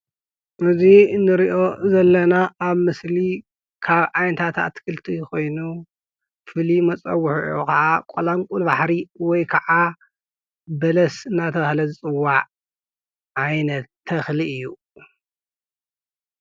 እዚ እንሪኦ ዘለና ኣብ ምስሊ ካብ ዓይነታት ኣትክልቲ ኾይኑ ፍሉይ መፀውዒዑ ከዓ ቆላንቊል ባሕሪ ወይ ከዓ በለስ እናተባህለ ዝፅዋዕ ዓይነት ተኽሊ እዩ፡፡